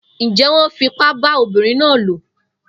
Njé wón fipá bá ọmọbínrin náà lò?